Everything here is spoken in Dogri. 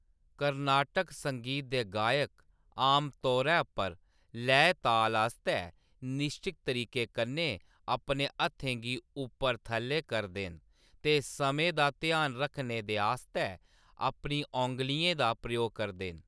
कर्नाटक संगीत दे गायक आमतौरे पर लैऽ-ताल आस्तै निश्चत तरीके कन्नै अपने हत्थें गी ऊप्पर-थ'ल्लै करदे न ते समें दा ध्यान रखने दे आस्तै अपनी औंगलियें दा प्रयोग करदे न।